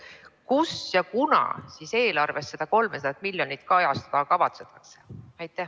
Kus ja kunas eelarves seda 300 miljonit eurot kajastada kavatsetakse?